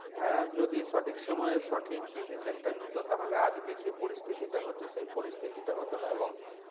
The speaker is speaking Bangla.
হ্যাঁ যদি সঠিক সময় সঠিক decision টা নিত তাহলে আজকের যে পরিস্থিতিটা হচ্ছে সেই পরিস্থিতটা হত না এবং